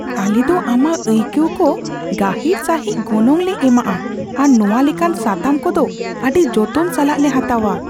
ᱟᱞᱮ ᱫᱚ ᱟᱢᱟᱜ ᱟᱹᱭᱠᱟᱹᱣ ᱠᱚ ᱜᱟᱹᱦᱤᱨ ᱥᱟᱹᱦᱤᱡ ᱜᱚᱱᱚᱝ ᱞᱮ ᱮᱢᱟᱜᱼᱟ ᱟᱨ ᱱᱚᱶᱟ ᱞᱮᱠᱟᱱ ᱥᱟᱛᱟᱢ ᱠᱚᱫᱚ ᱟᱹᱰᱤ ᱡᱚᱛᱚᱱ ᱥᱟᱞᱟᱜ ᱞᱮ ᱦᱟᱛᱟᱣᱟ ᱾